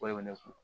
E bɛ ne kun